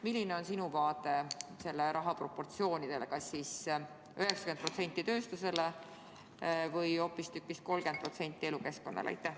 Milline on sinu seisukoht selle raha jagamise proportsioonide kohta: kas näiteks 90% tööstusele või hoopistükkis 30% elukeskkonnale?